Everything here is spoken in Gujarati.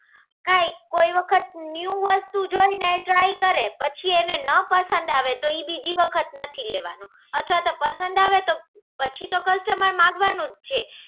હા, કોઈ વખત ન્યૂ વસ્તુ જોઈને try કરે. પછી એને ના પસંદ આવે તો ઈ બીજી વખત નથી લેવાનું. અથવા તો પસંદ આવે તો પછી તો customer માંગવાનું જ છે.